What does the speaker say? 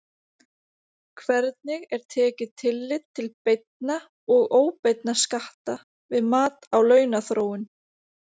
Hvernig er tekið tillit til beinna og óbeinna skatta við mat á launaþróun?